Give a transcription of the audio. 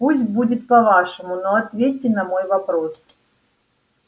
пусть будет по-вашему но ответьте на мой вопрос